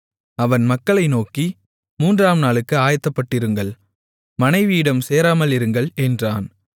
அவன் மக்களை நோக்கி மூன்றாம் நாளுக்கு ஆயத்தப்பட்டிருங்கள் மனைவியிடம் சேராமல் இருங்கள் என்றான்